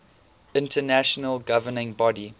international governing body